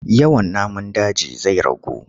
Yawan namun daji zai ragu.